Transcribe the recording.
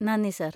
നന്ദി, സർ.